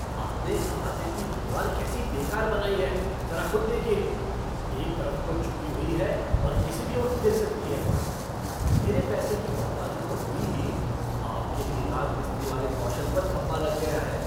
आपने अहाते की दीवार कैसी बेकार बनाई है, ज़रा खुद देखिए एक तरफ को झुकी हुई है और किसी भी वक्त गिर सकती है। मेरे पैसे की बर्बादी तो हुई ही, आप के भी राजमिस्त्री वाले कौशल पर धब्बा लग गया है।